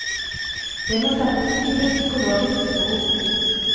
Det må sette dype psykologiske spor.